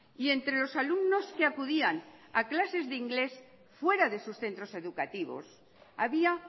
y entre los alumnos que acudían a clases de inglés fuera de sus centros educativos había